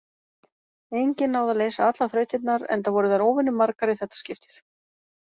Enginn náði að leysa allar þrautirnar, enda voru þær óvenjumargar í þetta skiptið.